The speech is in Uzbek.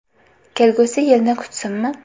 Kelgusi yilni kutsinmi?